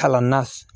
Kalan na